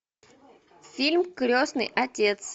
фильм крестный отец